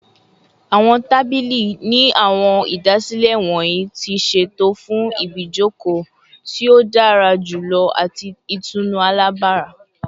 Awọn tabili ni awọn idasile wọnyi ti ṣeto fun ibijoko ti o dara julọ ati itunu alabara